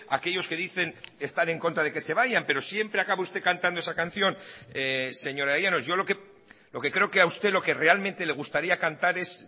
aquellos que dicen estar en contra de que se vayan pero siempre acaba usted cantando esa canción señora llanos yo lo que creo que a usted lo que realmente le gustaría cantar es